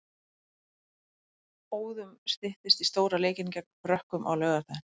Óðum styttist í stóra leikinn gegn Frökkum á laugardaginn.